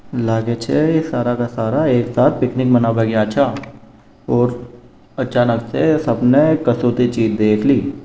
लागे छ ऐ सारा के सारा एक साथ पिकनिक मनाबे गया छ और अचानक से सबने कसौती चीज देख ली।